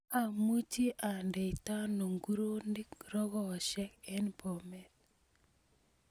Amuchi andeitano nguronik rogoshek en bomet